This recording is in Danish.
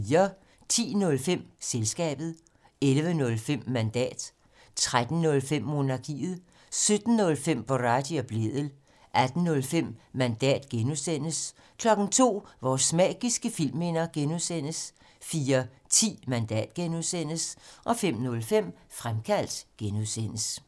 10:05: Selskabet 11:05: Mandat 13:05: Monarkiet 17:05: Boraghi og Blædel 18:05: Mandat (G) 02:00: Vores magiske filmminder (G) 04:10: Mandat (G) 05:05: Fremkaldt (G)